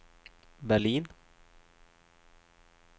Berlin